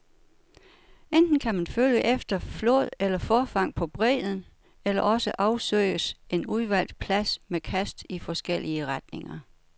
Enten kan man følge efter flåd eller forfang på bredden, eller også afsøges en udvalgt plads med kast i forskellige retninger.